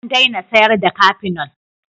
An daina sayarda cafenol.